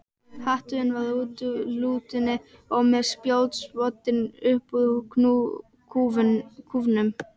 Hatturinn var úr látúni og með spjótsoddi upp úr kúfnum.